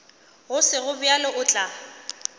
go sego bjalo o tla